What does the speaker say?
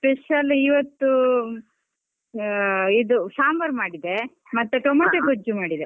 Special ಇವತ್ತು ಇದು ಸಾಂಬಾರ್ ಮಾಡಿದ್ದೆ, ಟೊಮೇಟೊ ಗೊಜ್ಜು ಮಾಡಿದೆ.